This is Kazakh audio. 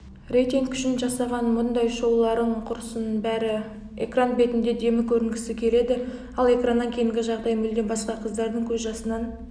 рейтинг үшін жасаған бұндай шоуларың құрысын брі экран бетінде демі көрінгісі келеді ал экраннан кейінгі жағдай мүлдем басқа қыздардың көз жасынан